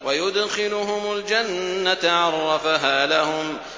وَيُدْخِلُهُمُ الْجَنَّةَ عَرَّفَهَا لَهُمْ